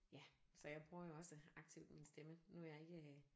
Ja så jeg bruger jo også aktivt min stemme nu er jeg ikke